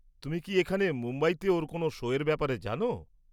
তুমি কি এখানে মুম্বাইতে ওর কোনও শোয়ের ব্যাপারে জানো?